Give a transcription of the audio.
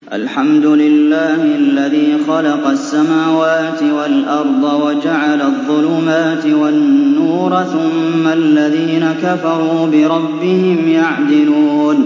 الْحَمْدُ لِلَّهِ الَّذِي خَلَقَ السَّمَاوَاتِ وَالْأَرْضَ وَجَعَلَ الظُّلُمَاتِ وَالنُّورَ ۖ ثُمَّ الَّذِينَ كَفَرُوا بِرَبِّهِمْ يَعْدِلُونَ